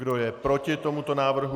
Kdo je proti tomuto návrhu?